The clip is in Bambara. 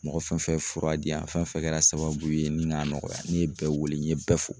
Mɔgɔ fɛn fɛn fura di yan fɛn fɛn kɛra sababu ye ni ŋa nɔgɔya ne ye bɛɛ wele n ye bɛɛ fo